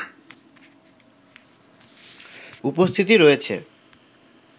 উপস্থিতি রয়েছে